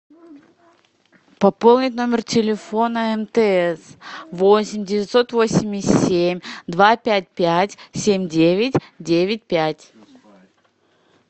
пополнить номер телефона мтс восемь девятьсот восемьдесят семь два пять пять семь девять девять пять